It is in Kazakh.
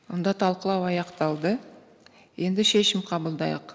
онда талқылау аяқталды енді шешім қабылдайық